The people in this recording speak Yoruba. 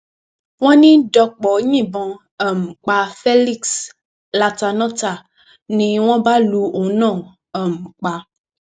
wọn ní dọpò yìnbọn um pa felix latánọtá ni wọn bá lu òun náà um pa